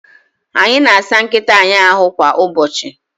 Anyị na-asa nkịta anyị ahu kwa ụbọchị